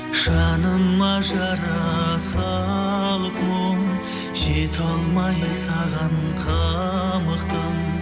жаныма жара салып мұң жете алмай саған қамықтым